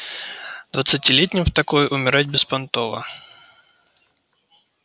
двадцатилетним в такой умирать беспонтово